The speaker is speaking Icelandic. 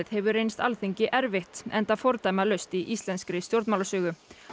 hefur reynst Alþingi erfitt enda fordæmalaust í íslenskri stjórnmálasögu